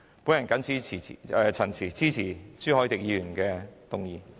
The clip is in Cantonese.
我謹此陳辭，支持朱凱廸議員的議案。